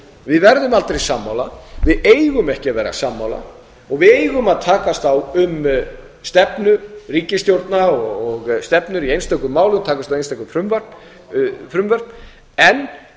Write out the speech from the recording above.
við verðum aldrei sammála við eigum ekki að vera sammála og við eigum að takast á um stefnu ríkisstjórna og stefnur í einstökum málum takast á um einstöku frumvörp en